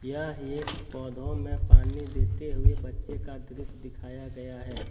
यहां एक पौधों में पानी देते हुए बच्चे का दृश्य दिखाया गया है।